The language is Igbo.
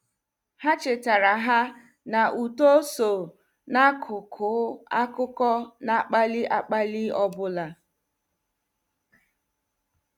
Ha chetara ha na uto so n' akụkụ akụkọ na- akpali akpali ọbụla.